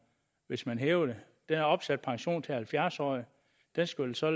hvis man hæver det der er opsat pension til halvfjerds årige det skal vel så